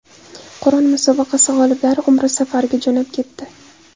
Qur’on musobaqasi g‘oliblari Umra safariga jo‘nab ketdi.